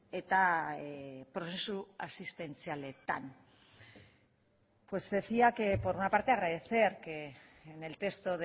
eta prozesu asistentzialetan pues decía que por una parte agradecer que en el texto